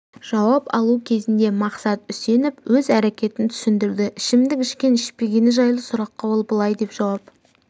жауап алу кезінде мақсат үсенов өз әрекетін түсіндірді ішімдік ішкен-ішпегені жайлы сұраққа ол былай деп жауап